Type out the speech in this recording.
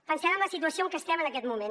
pensem en la situació en que estem en aquest moment